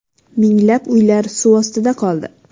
Minglab uylar suv ostida qoldi.